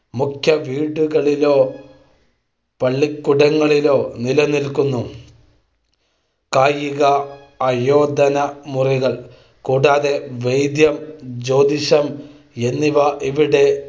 മുഖ്യവീടുകളിലോ, പള്ളിക്കൂടങ്ങളിലോ നിലനിൽക്കുന്നു. കായിക ആയോധനമുറകൾ കൂടാതെ വൈദ്യം, ജ്യോതിഷം എന്നിവ ഇവിടെ